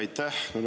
Aitäh!